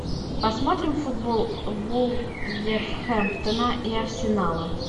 посмотрим футбол вулверхэмптона и арсенала